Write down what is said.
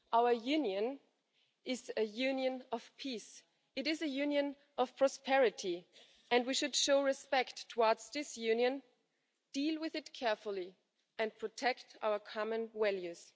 Our union is a union of peace. It is a union of prosperity and we should show respect towards this union, deal with it carefully and protect our common values.